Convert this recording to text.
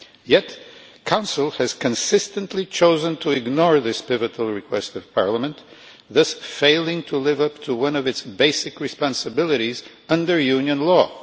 Yet the Council has consistently chosen to ignore this pivotal request of Parliament, thus failing to live up to one of its basic responsibilities under Union law.